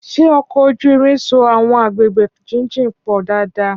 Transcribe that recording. Ṣé ọkọ̀ ojú irin so àwọn agbègbè jíjìn pọ̀ dáadáa?